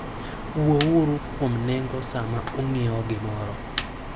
Wuouru kuom nengo sama ung'iewo gimoro.